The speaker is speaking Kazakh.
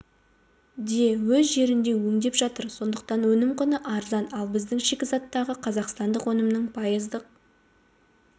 де өз жерінде өңдеп жатыр сондықтан өнім құны арзан ал біздің шикізаттағы қазақстандық өнімнің пайыздық